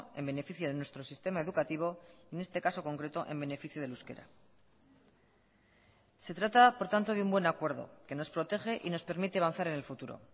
en beneficio de nuestro sistema educativo en este caso concreto en beneficio del euskera se trata por tanto de un buen acuerdo que nos protege y nos permite avanzar en el futuro